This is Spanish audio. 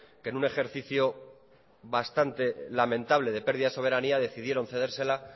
que en un ejercicio bastante lamentable de pérdida soberanía decidieron cedérsela